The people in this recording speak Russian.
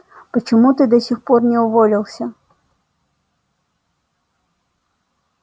почему ты до сих пор не уволился